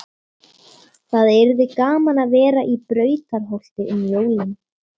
Það yrði gaman að vera í Brautarholti um jólin.